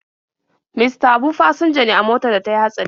Mista Habu fasinja ne a motar da ta yi hatsari.